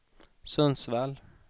Sundsvall